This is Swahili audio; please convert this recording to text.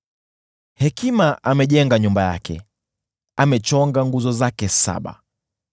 Hekima amejenga nyumba yake; amechonga nguzo zake saba.